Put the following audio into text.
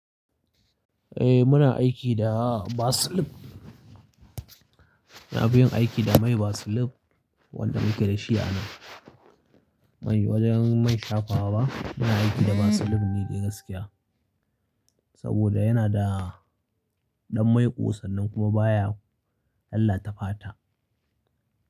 Eh muna aiki da baseline. Ina fi yin aiki da mai Vaseline, wanda muke da shi a nan. Mai wajen mai shafawa ba, muna aiki da baseline ne dai gaskiya. Saboda yana da, ɗan mai ƙo san nan kuma baya lallata fata.